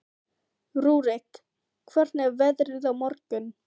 Rúrik, hvernig er veðrið á morgun?